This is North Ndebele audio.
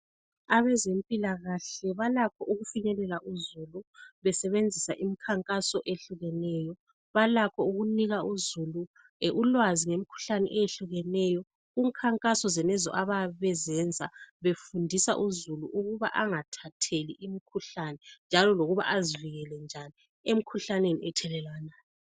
Abazempilakahle balakho ukufinyelela uzulu besebenzisa imikhankaso ehlukeneyo. Balakho ukunika uzulu ulwazi ngemikhuhlane ehlukeneyo kumikhankaso zonezo abayabe bezenza befundisa uzulu ukuba angathatheki ngemikhuhlane njalo befundisa uzulu njalo lokuba azivikele njani emikhuhlaneni ethelelwanayo.